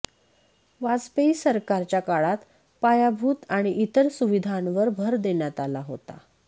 वाजपेयी सरकारच्या काळात पायाभूत आणि इतर सुविधांवर भर देण्यात आला होता